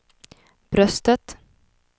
bröstet